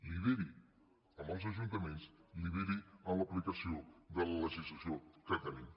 lideri amb els ajuntaments lideri en l’aplicació de la legislació que tenim